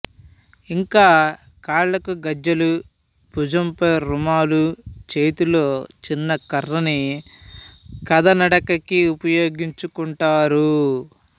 ఇంకా కాళ్ళకు గజ్జెలు భుజంపై రుమాలు చేతిలో చిన్న కర్రని కథానడకకి ఉపయోగించుకుంటారు